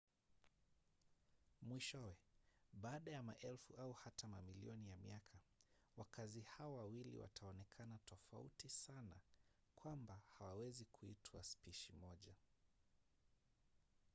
mwishowe baada ya maelfu au hata mamilioni ya miaka wakazi hao wawili wataonekana tofauti sana kwamba hawawezi kuitwa spishi moja